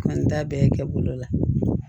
An t'a bɛɛ kɛ bolo la